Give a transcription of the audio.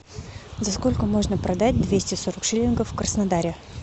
за сколько можно продать двести сорок шиллингов в краснодаре